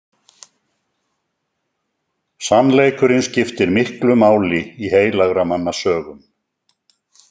Sannleikurinn skiptir miklu máli í heilagra manna sögum.